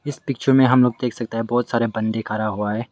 इस पिक्चर में हम लोग देख सकता है बहोत सारे बंदे खरा हुआ है।